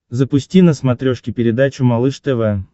запусти на смотрешке передачу малыш тв